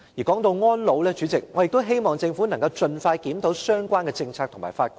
說到安老，主席，我希望政府能盡快檢討相關政策和法規。